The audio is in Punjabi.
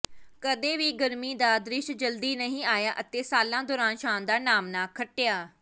ਕਦੇ ਵੀ ਗਰਮੀ ਦਾ ਦ੍ਰਿਸ਼ ਜਲਦੀ ਨਹੀਂ ਆਇਆ ਅਤੇ ਸਾਲਾਂ ਦੌਰਾਨ ਸ਼ਾਨਦਾਰ ਨਾਮਣਾ ਖੱਟਿਆ